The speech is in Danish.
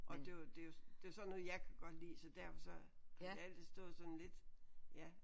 Og det var det er jo det er sådan noget jeg kan godt lide så derfor så har det altid stået sådan lidt ja